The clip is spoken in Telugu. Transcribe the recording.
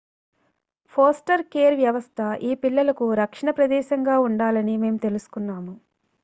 foster కేర్ వ్యవస్థ ఈ పిల్లలకు రక్షణ ప్రదేశంగా ఉండాలని మేము తెలుసుకున్నాము